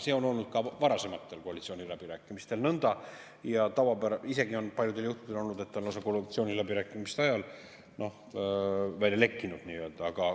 See on olnud ka varasematel koalitsiooniläbirääkimistel nõnda ja paljudel juhtudel on isegi olnud nii, et ta on lausa koalitsiooniläbirääkimiste ajal nii-öelda välja lekkinud.